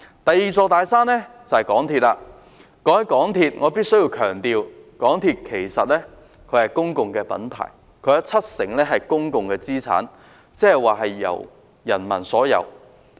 談到港鐵公司，我必須強調，港鐵公司其實是公共品牌，其七成資產是公有的，即由市民擁有。